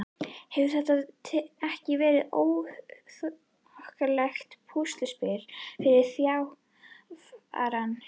Hefur þetta ekki verið þokkalegt púsluspil fyrir þjálfarann?